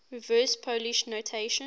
reverse polish notation